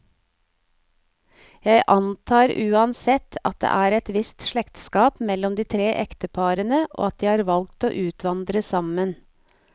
Jeg antar uansett, at det er et visst slektskap mellom de tre ekteparene, og at de har valgt å utvandre sammen.